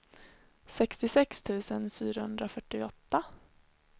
sextiosex tusen fyrahundrafyrtioåtta